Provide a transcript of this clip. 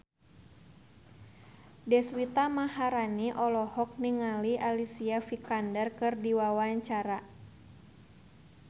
Deswita Maharani olohok ningali Alicia Vikander keur diwawancara